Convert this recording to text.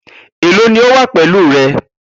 Elo ni o wa pẹlu rẹ?